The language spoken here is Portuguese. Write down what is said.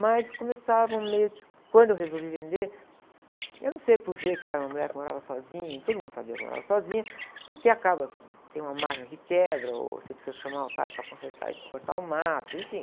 Mas começavam meio que, quando eu resolvi vender, eu não sei por ver que eu era uma mulher que morava sozinha, e todo mundo sabia que eu morava sozinha, porque acaba que tem uma máquina que quebra, ou você precisa chamar o cara para consertar isso, para cortar o mato, enfim.